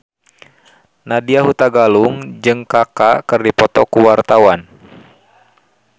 Nadya Hutagalung jeung Kaka keur dipoto ku wartawan